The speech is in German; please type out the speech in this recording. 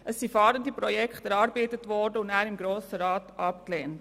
Es wurden Fahrende-Projekte erarbeitet und danach im Grossen Rat abgelehnt.